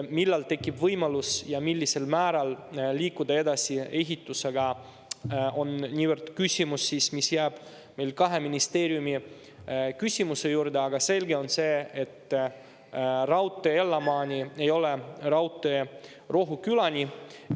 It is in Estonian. Millal tekib võimalus ja millisel määral liikuda edasi ehitusega, on seega küsimus, mis jääb meil kahe ministeeriumi vaheliseks küsimuseks, aga selge on see, et raudtee Ellamaani ei ole raudtee Rohukülani.